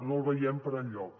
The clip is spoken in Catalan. no el veiem per enlloc